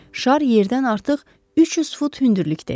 Şar yerdən artıq 300 fut hündürlükdə idi.